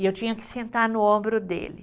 E eu tinha que sentar no ombro dele.